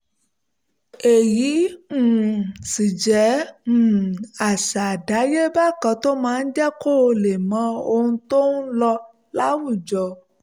èyí um sì jẹ́ um àṣà àdáyéba kan tó máa ń jẹ́ kó lè mọ ohun tó ń lọ láwùjọ